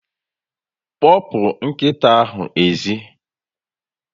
Kpopu nkita ahu ezi